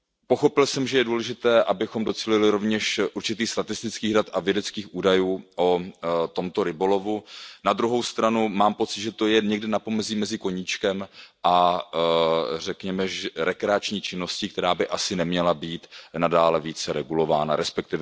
Pochopil jsem, že je důležité, abychom docílili rovněž určitých statistických dat a vědeckých údajů o tomto rybolovu, na druhou stranu mám pocit, že to je někde na pomezí mezi koníčkem a řekněme rekreační činností, která by asi neměla být nadále více regulována, resp.